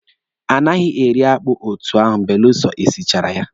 A naghị eri akpụ etu ahụ belụsọ e sichara ya.